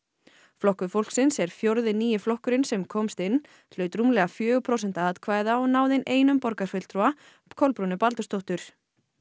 flokkur fólksins er fjórði nýi flokkurinn sem komst inn hlaut rúmlega fjögur prósent atkvæða og náði inn einum borgarfulltrúa Kolbrúnu Baldursdóttur